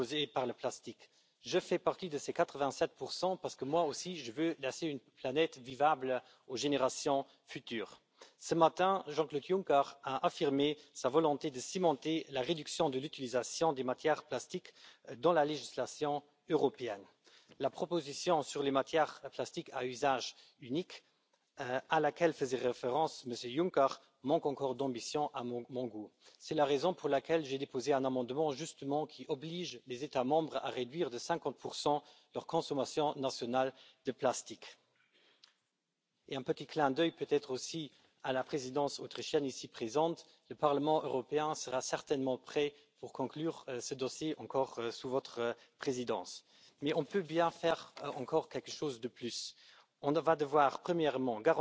para avanzar en una revolución necesaria. Un cambio que nos obliga, para empezar, a reciclar mucho más que el 30 del plástico desechable que recogemos ahora con ese fin. Esta misma conciencia ambiental está impulsando iniciativas tecnológicas que van a centrar el diseño de los envases de plástico en la circularidad en vez de en el reciclaje. Un movimiento que impulsará la innovación y creará riqueza y empleo sostenibles. También tenemos una normativa avanzada sobre residuos, y sabemos que diseñar la que regulará el mercado de materias primas secundarias, implantando estándares de calidad y estimulando los cambios con medidas fiscales, es el siguiente paso. Por eso, animo a que los programas europeos de innovación se sumen a este movimiento, tratando con especial cariño las iniciativas y emprendimientos en este sector de la economía